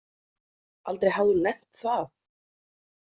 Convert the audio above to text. Aldrei hafði hún nefnt það.